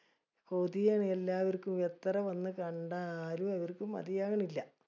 കൊതിയാണ് എല്ലാവർക്കും എത്ര വന്ന് കണ്ട ആരും മതിയാകനില്ല.